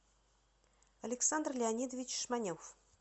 александр леонидович шманев